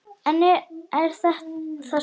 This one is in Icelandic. Hagl í hörkum bítur.